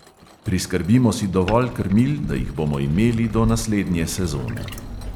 Priskrbimo si dovolj krmil, da jih bomo imeli do naslednje sezone.